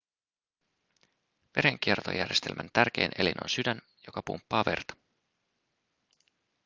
verenkiertojärjestelmän tärkein elin on sydän joka pumppaa verta